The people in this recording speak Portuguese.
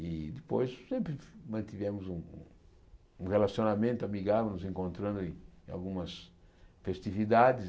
E depois sempre mantivemos um um relacionamento amigável, nos encontrando em em algumas festividades.